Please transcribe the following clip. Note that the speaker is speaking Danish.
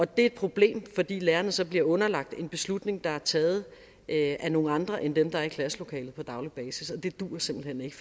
det er et problem fordi lærerne så bliver underlagt en beslutning der er taget af nogle andre end dem der er i klasselokalet på daglig basis og det duer simpelt hen ikke